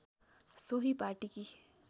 सोही पाटीकी